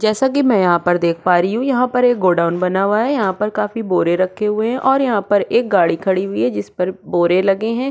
जैसा की मै यहाँ पर देख पा रही हु यहाँ पर गोडाऊन बना हुआ है यहाँ पर काफी बोरे रखे हुए है और यहाँ पर एक गाड़ी खड़ी हुई है जिस पर बोरे लगे है।